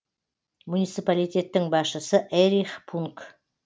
муниципалитеттің басшысы эрих пунг